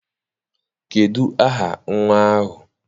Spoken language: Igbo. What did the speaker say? Kedụ aha nnwa ahụ?